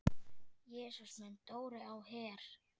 Jesús minn, Dóri á Her!